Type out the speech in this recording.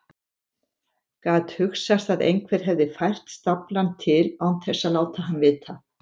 Gat hugsast að einhver hefði fært staflann til án þess að láta hann vita?